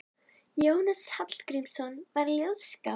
Jónas Hallgrímsson var ljóðskáld.